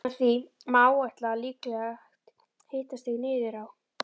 Með því má áætla líklegt hitastig niður á